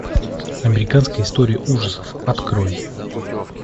американская история ужасов открой